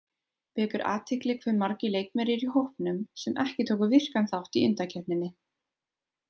Vekur athygli hve margir leikmenn eru í hópnum sem ekki tóku virkan þátt í undankeppninni.